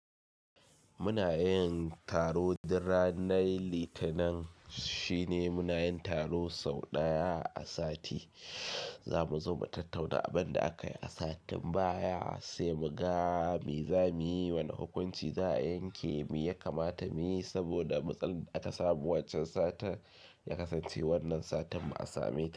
Muna yin taro na ranar Litinin shine muna yin taro sau ɗaya a sati, zamu zo mu tattauna abin da aka yi a satin baya sai mu ga mi zamuyi, wane hukunci za a yanke, mi ya kamata muyi saboda matsalar da aka samu waccan satin, ya kasance wannan satin mu a same ta.